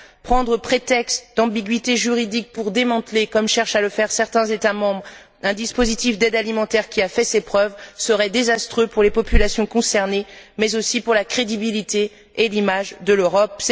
Prendre prétexte d'ambiguïté juridique pour démanteler, comme cherchent à le faire certains États membres, un dispositif d'aide alimentaire qui a fait ses preuves serait désastreux pour les populations concernées mais aussi pour la crédibilité et l'image de l'Europe.